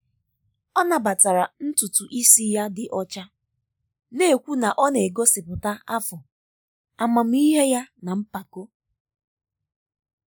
o nabatara ntutu isi ya dị ọcha na-ekwu na ọ na-egosipụta afọ amamihe ya na mpako.